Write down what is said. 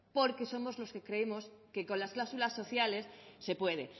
porque somos los que creemos que con las cláusulas sociales se puede